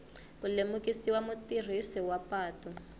ku lemukisa mutirhisi wa patu